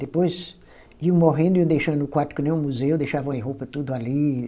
Depois iam morrendo, iam deixando o quarto que nem um museu, deixavam as roupas tudo ali.